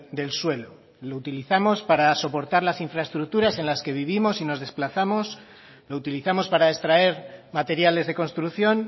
del suelo lo utilizamos para soportar las infraestructuras en las que vivimos y nos desplazamos lo utilizamos para extraer materiales de construcción